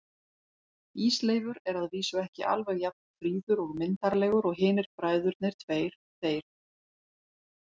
Ísleifur er að vísu ekki alveg jafn fríður og myndarlegur og hinir bræðurnir tveir, þeir